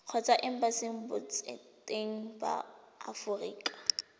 kgotsa embasing botseteng ba aforika